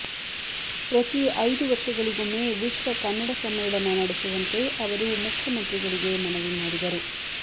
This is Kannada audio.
ಪ್ರತಿ ಐದು ವರ್ಷಗಳಿಗೊಮ್ಮೆ ವಿಶ್ವ ಕನ್ನಡ ಸಮ್ಮೇಳನ ನಡೆಸುವಂತೆ ಅವರು ಮುಖ್ಯಮಂತ್ರಿಗಳಿಗೆ ಮನವಿ ಮಾಡಿದರು